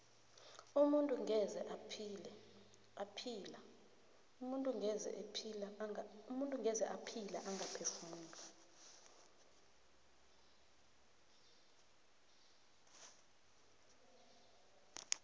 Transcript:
umuntu ngeze ephila angaphefumuli